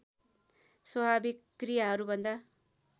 स्वाभाविक क्रियाहरूभन्दा